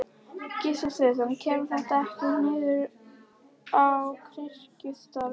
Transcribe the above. Gissur Sigurðsson: Kemur þetta ekkert niður á kirkjustarfinu?